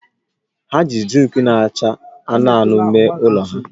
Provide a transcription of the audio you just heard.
Ha ji zinki na-acha anụnụ anụnụ mee ụlọ ha